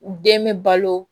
U den bɛ balo